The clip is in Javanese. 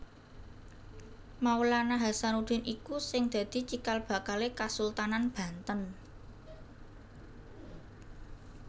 Maulana Hasanuddin iku sing dadi cikal bakalé Kasultanan Banten